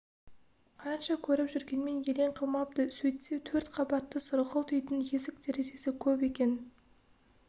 қанша көріп жүргенмен елең қылмапты сөйтсе төрт қабатты сұрғылт үйдің есік-терезесі көп екен